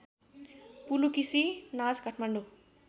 पुलुकिसी नाच काठमाडौँ